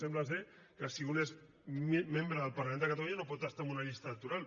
sembla que si un és membre del parlament de catalunya no pot estar en una llista electoral